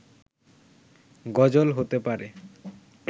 গজল হতে পারে